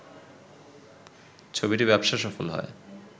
ছবিটি ব্যবসা সফল হয়